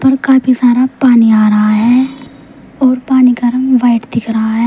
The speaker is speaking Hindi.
काफी सारा पानी आ रहा है और पानी का रंग व्हाइट दिख रहा है।